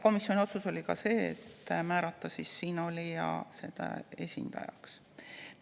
Komisjon tegi otsuse määrata siinolija.